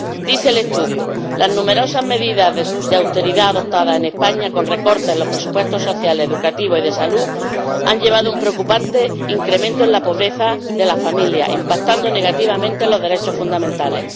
Dice el estudio Las numerosas medidas de austeridad adoptadas en España, con recortes en los presupuestos social, educativo y de salud, han llevado a un preocupante incremento en la pobreza de la familia, impactando negativamente en los derechos fundamentales.